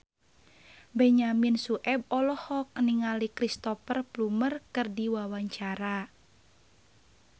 Benyamin Sueb olohok ningali Cristhoper Plumer keur diwawancara